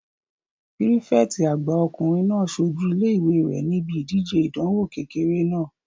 Pírífẹ̀tì àgbà ọkùnrin náà sojú ilé-ìwé rẹ̀ níbi ìdíje ìdánwò kékeré náà